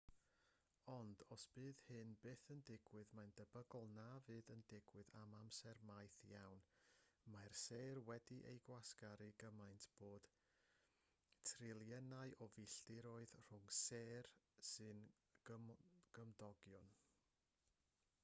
ond os bydd hyn byth yn digwydd mae'n debygol na fydd yn digwydd am amser maith iawn mae'r sêr wedi'u gwasgaru gymaint bod triliynau o filltiroedd rhwng sêr sy'n gymdogion